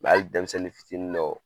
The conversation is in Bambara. Mɛ hali denmisɛnnin fitini dɔw